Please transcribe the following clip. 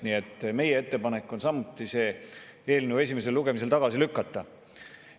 Nii et meie ettepanek on samuti see eelnõu esimesel lugemisel tagasi lükata.